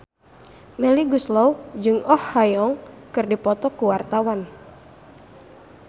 Melly Goeslaw jeung Oh Ha Young keur dipoto ku wartawan